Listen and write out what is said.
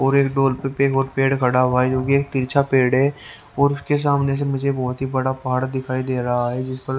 और एक डोर पे पेग और पेड़ खड़ा हुआ है जोकि तिरछा पेड़ है और उसके सामने से मुझे बहोत ही बड़ा पहाड़ दिखाई दे रहा है जिस पर--